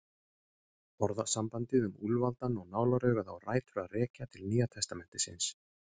Orðasambandið um úlfaldann og nálaraugað á rætur að rekja til Nýja testamentisins.